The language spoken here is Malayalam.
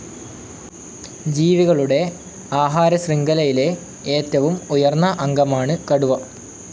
ജീവികളുടെ ആഹാരശൃഖലയിലെ ഏറ്റവും ഉയർന്ന അംഗമാണ് കടുവ.